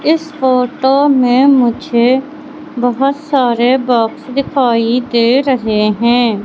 इस फोटो में मुझे बहुत सारे बॉक्स दिखाई दे रहे हैं।